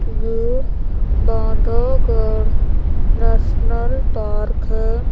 ये Bandhavgarh national park है।